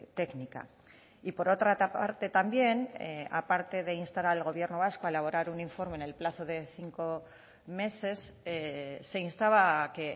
técnica y por otra parte también a parte de instar al gobierno vasco a elaborar un informe en el plazo de cinco meses se instaba a que